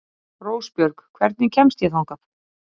Rósbjörg, hvernig kemst ég þangað?